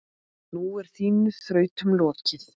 Nú er þínum þrautum lokið.